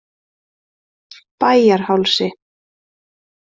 Bæjarhálsi